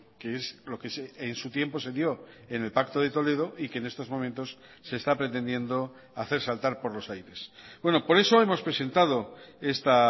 que es lo que en su tiempo se dio en el pacto de toledo y que en estos momentos se está pretendiendo hacer saltar por los aires por eso hemos presentado esta